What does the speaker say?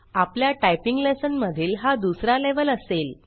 आपल्या typing lesson मधील हा दुसरा लेवेल असेल